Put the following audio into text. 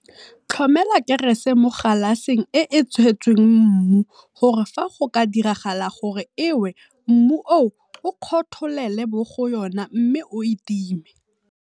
Tlhomela kerese mo galaseng e e tshetsweng mmu gore fa go ka diragala gore e we mmu oo o kgotholele mo go yona mme o e time.